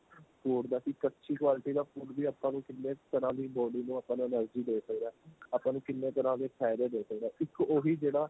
food ਦਾ ਕੀ ਕਚੀ quality ਦਾ food ਵੀ ਆਪਾਂ ਨੂੰ ਕਿੰਨੇ ਤਰ੍ਹਾਂ ਦੀ body ਨੂੰ ਆਪਾਂ ਨੂੰ energy ਦੇ ਸਕਦਾ ਆਪਾਂ ਨੂੰ ਕਿੰਨੇ ਤਰ੍ਹਾਂ ਦੇ ਫਾਇਦੇ ਦੇ ਸਕਦਾ ਇੱਕ ਉਹੀ ਜਿਹੜਾ